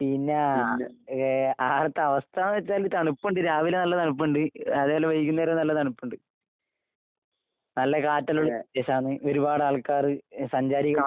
പിന്നേ ഏഹ് ആടത്തെ അവസ്ഥാന്ന് വെച്ചാല് തണുപ്പൊണ്ട് രാവിലെ നല്ല തണുപ്പൊണ്ട്, അതുപോലെ വൈകുന്നേരോം നല്ല തണുപ്പൊണ്ട്. നല്ല കാറ്റെല്ലോണ്ട്, രസാണ്. ഒരുപാടാൾക്കാര് സഞ്ചാരികൾ